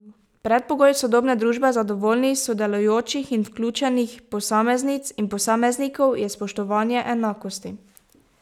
Predpogoj sodobne družbe zadovoljnih, sodelujočih in vključenih posameznic in posameznikov je spoštovanje enakosti.